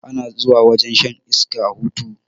Ana zuwa wajen shan iska a hutu